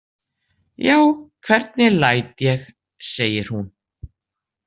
Já, hvernig læt ég, segir hún.